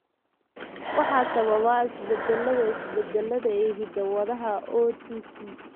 Waxaa sababa isbeddellada (isbeddellada) ee hidda-wadaha OTC.